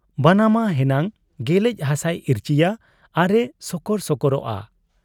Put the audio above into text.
ᱵᱟᱱᱟᱢᱟ ᱦᱮᱱᱟᱝ ᱜᱮᱞᱮᱡ ᱦᱟᱥᱟᱭ ᱤᱨᱪᱤᱭᱟ ᱟᱨ ᱮ ᱥᱚᱠᱚᱨ ᱥᱚᱠᱚᱨᱚᱜ ᱟ ᱾